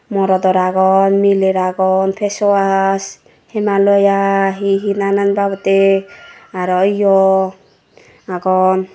morodor agon miler agon face wash himalaya hehe nanan bobotte aro yo agon.